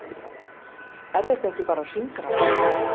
Er þetta ekki bara hringrás?